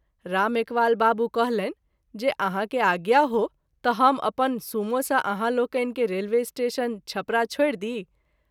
राम एकवाल बाबू कहलनि जे आहाँ के आज्ञा हो त’ हम अपन सूमो सँ आहाँ लोकनि के रेलवे स्टेशन, छपरा छोड़ि दी।